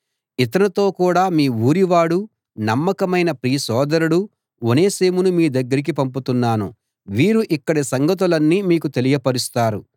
ఇతనితో కూడా మీ ఊరివాడు నమ్మకమైన ప్రియ సోదరుడు ఒనేసిమును మీ దగ్గరికి పంపుతున్నాను వీరు ఇక్కడి సంగతులన్నీ మీకు తెలియపరుస్తారు